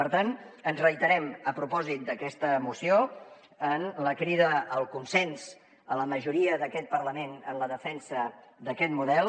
per tant ens reiterem a propòsit d’aquesta moció en la crida al consens a la majoria d’aquest parlament en la defensa d’aquest model